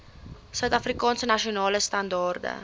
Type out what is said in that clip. suidafrikaanse nasionale standaarde